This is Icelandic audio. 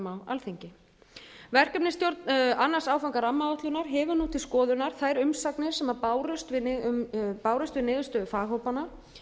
á alþingi verkefnisstjórn annan áfanga rammaáætlunar hefur nú til skoðunar þær umsagnir sem bárust við niðurstöður faghópanna